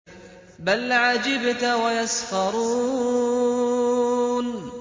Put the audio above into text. بَلْ عَجِبْتَ وَيَسْخَرُونَ